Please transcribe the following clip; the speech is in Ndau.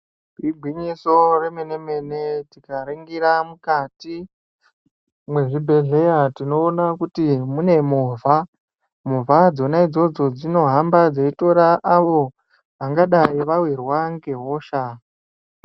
Igwinyiso remene-mene, tikaningira mukati mezvibhedhlera tinoona kuti mune movha. Movha dzona idzodzo dzinohamba dzeitora antu angadai vawirwa ngehosha.